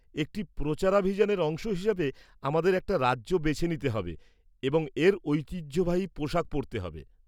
একটি প্রচারাভিযানের অংশ হিসাবে, আমাদের একটা রাজ্য বেছে নিতে হবে এবং এর ঐতিহ্যবাহী পোশাক পরতে হবে।